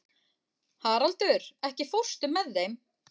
Haraldur, ekki fórstu með þeim?